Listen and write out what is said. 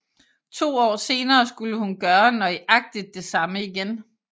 To år senere skulle hun gøre nøjagtig det samme igen